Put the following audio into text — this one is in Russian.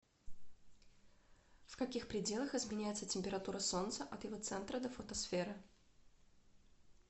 в каких пределах изменяется температура солнца от его центра до фотосферы